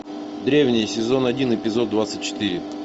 древние сезон один эпизод двадцать четыре